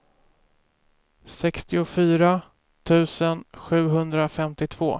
sextiofyra tusen sjuhundrafemtiotvå